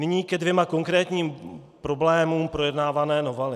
Nyní ke dvěma konkrétním problémům projednávané novely.